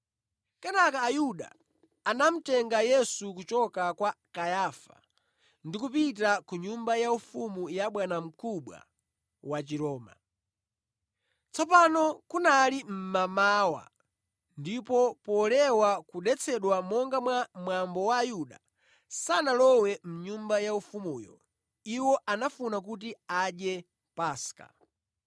Kenaka Ayuda anamutenga Yesu kuchoka kwa Kayafa ndi kupita ku nyumba yaufumu ya bwanamkubwa wa Chiroma. Tsopano kunali mmamawa, ndipo polewa kudetsedwa monga mwa mwambo Ayuda sanalowe mʼnyumba yaufumuyo; iwo anafuna kuti adye Paska.